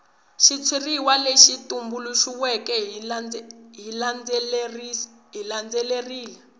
xitshuriwa lexi tumbuluxiweke xi landzelerile